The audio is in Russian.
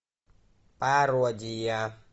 пародия